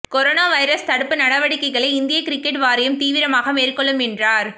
corona virus தடுப்பு நடவடிக்கைகளை இந்திய கிரிக்கெட் வாரியம் தீவிரமாக மேற்கொள்ளும் என்றார்